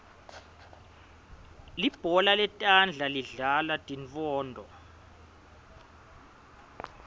libhola letandla lidlalwa tintfounto